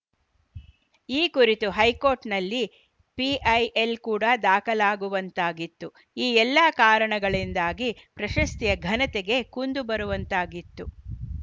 ಈ ಕುರಿತು ಹೈಕೋರ್ಟ್‌ನಲ್ಲಿ ಪಿಐಎಲ್‌ ಕೂಡ ದಾಖಲಾಗುವಂತಾಗಿತ್ತು ಈ ಎಲ್ಲ ಕಾರಣಗಳಿಂದಾಗಿ ಪ್ರಶಸ್ತಿಯ ಘನತೆಗೆ ಕುಂದು ಬರುವಂತಾಗಿತ್ತು